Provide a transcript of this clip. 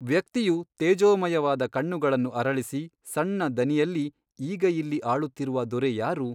ವ್ಯಕ್ತಿಯು ತೇಜೋಮಯವಾದ ಕಣ್ಣುಗಳನ್ನು ಅರಳಿಸಿ ಸಣ್ಣ ದನಿಯಲ್ಲಿ ಈಗ ಇಲ್ಲಿ ಆಳುತ್ತಿರುವ ದೊರೆ ಯಾರು ?